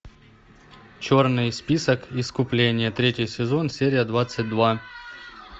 черный список искупление третий сезон серия двадцать два